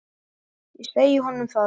Ég segi honum það.